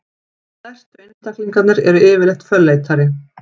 stærstu einstaklingarnir eru yfirleitt fölleitari